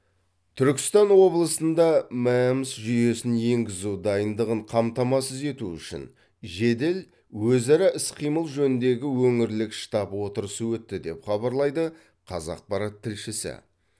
түркістан облысында мэмс жүйесін енгізу дайындығын қамтамасыз ету үшін жедел өзара іс қимыл жөніндегі өңірлік штаб отырысы өтті деп хабарлайды қазақпарат тілшісі